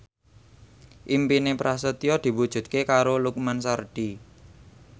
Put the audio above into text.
impine Prasetyo diwujudke karo Lukman Sardi